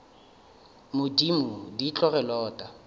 modimo di tlo re lota